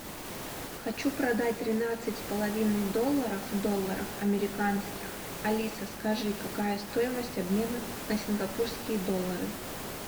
хочу продать тринадцать с половиной долларов долларов американских алиса скажи какая стоимость обмена на сингапурские доллары